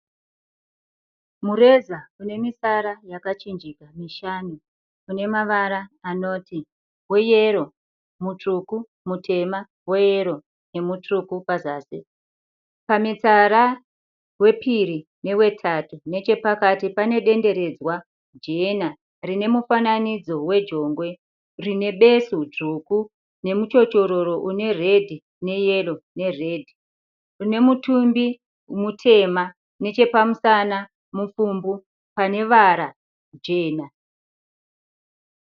Mureza unemitsara yakachinja mishanu inemavara anoti weyero, mutsvuku, mutema, weyero nemutsvuku pazasi. Pamitsara wepiri newetatu nechepakati panedenderedzwa jena rinemufananidzo wejongwe rinebesu dzvuku nemuchochororo une redhi neyero neredhi unemutumbi mutema nechepamusana mupfumbu pane vara jena.